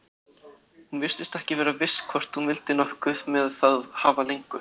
Hún virtist ekki vera viss hvort hún vildi nokkuð með það hafa lengur.